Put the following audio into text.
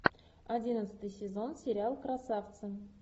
одиннадцатый сезон сериал красавцы